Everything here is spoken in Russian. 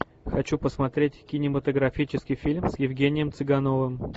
хочу посмотреть кинематографический фильм с евгением цыгановым